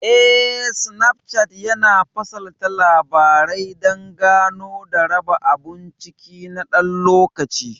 Eh, Snapchart yana fasalta Labarai dan Gano da raba abun ciki na ɗan lokaci.